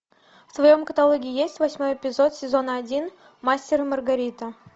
в твоем каталоге есть восьмой эпизод сезона один мастер и маргарита